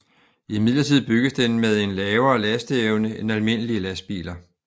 Imidlertid bygges den med en lavere lasteevne end almindelige lastbiler